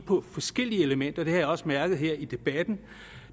på forskellige elementer det har jeg også mærket her i debatten